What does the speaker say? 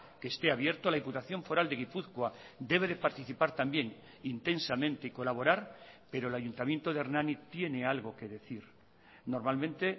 que esté abierto la diputación foral de gipuzkoa debe de participar también intensamente y colaborar pero el ayuntamiento de hernani tiene algo qué decir normalmente